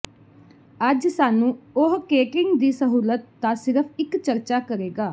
ਅੱਜ ਸਾਨੂੰ ਉਹ ਕੇਟਰਿੰਗ ਦੀ ਸਹੂਲਤ ਦਾ ਸਿਰਫ ਇੱਕ ਚਰਚਾ ਕਰੇਗਾ